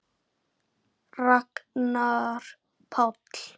Spenna eykst innan flokks hans.